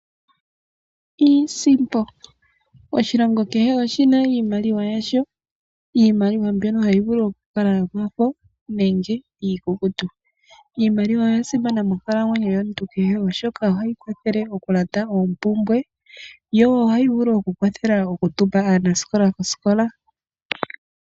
Iisimpo, oshilongo kehe oshina iimaliwa yasho. Iimaliwa mbyono hayi vulu oku kala yomafo nenge iikukutu. Iimaliwa oya simana monkalamwenyo yomuntu kehe, oshoka, ohayi kwathele okulanda oompumbwe, yo ohayi vulu oku kwathela oku tuma aanasikola kosikola.